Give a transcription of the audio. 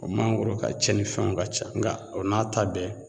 O mangoro ka cɛnni fɛnw ka ca nga o n'a ta bɛɛ